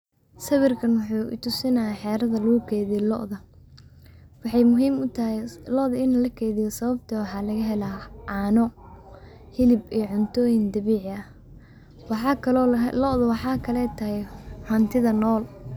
Sawirkan wuxuu tusinayaa xeerka lagu keydiyo loodha. Waxay muhiim u tahay loodha in la keydiyo sababtoo ah laga helaa caano, hilib ee cuntooyin dabiici ah. Waxaa kaloo loo ahaa loodho waxaa kale taay xuntida nool.